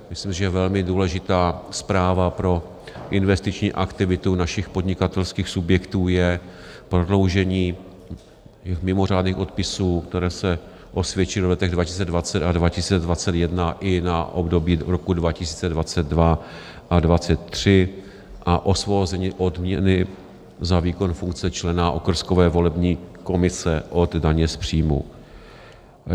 Myslím, že velmi důležitá zpráva pro investiční aktivitu našich podnikatelských subjektů je prodloužení mimořádných odpisů, které se osvědčily v letech 2020 a 2021, i na období roku 2022 a 2023 a osvobození odměny za výkon funkce člena okrskové volební komise od daně z příjmů.